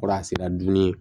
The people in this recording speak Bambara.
Kɔrɔ a sera dumuni